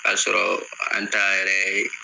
K'a sɔrɔ an ta yɛrɛ ye